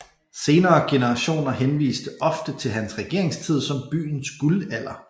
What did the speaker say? Senere generationer henviste ofte til hans regeringstid som byens guldalder